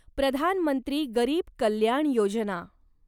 प्रधान मंत्री गरीब कल्याण योजना